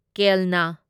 ꯀꯦꯜꯅꯥ